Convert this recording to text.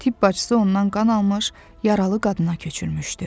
Tibb bacısı ondan qan almış, yaralı qadına köçürmüşdü.